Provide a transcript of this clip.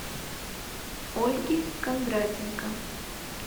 ольги кондратенко